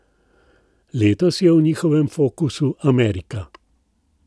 Letos je v njihovem fokusu Amerika.